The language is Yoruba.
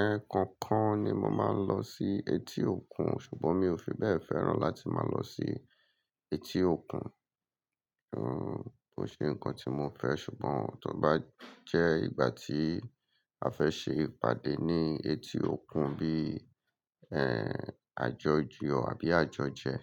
Ẹ̀ẹ̀kankan ni mo máa ń lọ sí etí òkun, ṣùgbọ́n mi ò fi bẹ́ẹ̀ fẹ́ràn láti máa lọ sí etí òkun. Kò ṣe nǹkan tí mo fẹ́, ṣùgbọ́n tó bá jẹ́ ìgbà tí a fẹ́ ṣe ìpàdé ní etí òkun bí àjọ̀yọ abí àjọ̀jẹ̀.